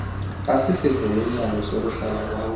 isivumelwano sokuhlala kwam